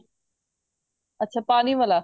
ਅੱਛਾ ਪਾਣੀ ਵਾਲਾ